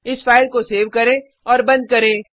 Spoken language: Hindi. इस फाइल को सेव करें और बंद करें